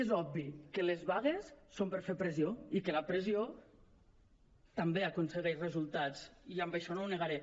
és obvi que les vagues són per fer pressió i que la pressió també aconsegueix resultats i això no ho negaré